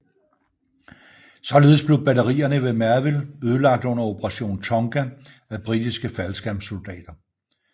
Således blev batterierne ved Merville ødelagt under Operation Tonga af britiske faldskærmssoldater